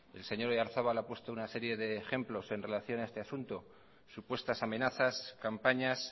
el señor oyarzabal ha puesto una serie de ejemplos en relación a este asunto supuestas amenazas campañas